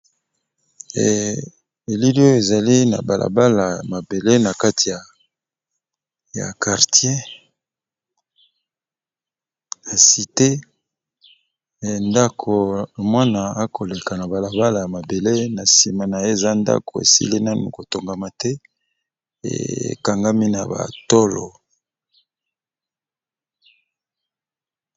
Elilio ezali na balabala ya mabele na kati ya kartier hasitee ndako mwana akoleka na balabala ya mabele na nsima na ye eza ndako esili nanu kotongama te ekangami na batolo.